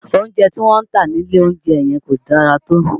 Oúnjẹ tí wọ́n ń tà nílé oúnjẹ yẹn kò dára tó